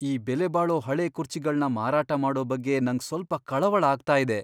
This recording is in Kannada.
ಈ ಬೆಲೆಬಾಳೋ ಹಳೇ ಕುರ್ಚಿಗಳ್ನ ಮಾರಾಟ ಮಾಡೋ ಬಗ್ಗೆ ನಂಗ್ ಸ್ವಲ್ಪ ಕಳವಳ ಆಗ್ತಾ ಇದೆ.